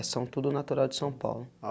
São tudo natural de São Paulo.